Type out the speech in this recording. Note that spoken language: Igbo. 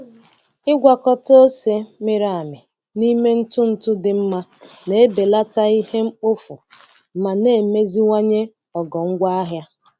Ịgwakọta ose mịrị amị n'ime ntụ ntụ dị mma na-ebelata ihe mkpofu ma na-emeziwanye ogo ngwaahịa.